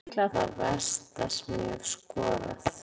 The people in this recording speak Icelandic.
Þetta mark var líklega það versta sem ég hef skorað.